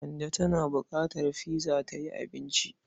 Kande tana buƙatar pizza ta yi cincin.